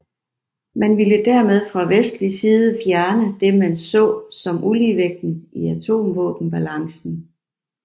Man ville dermed fra vestlig side fjerne det man så som uligevægten i atomvåbenbalancen